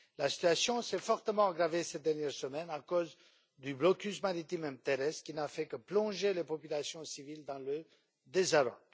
La situation s'est fortement aggravée ces dernières semaines à cause du blocus maritime et terrestre, qui n'a fait que plonger les populations civiles dans le désarroi.